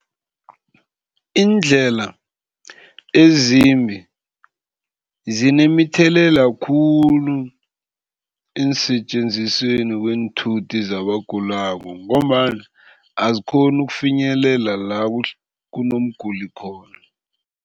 Iindlela ezimbi zinemithelela khulu eensetjenzisweni kweenthuthi zabagulako ngombana azikghoni ukufinyelela la kunomguli khona.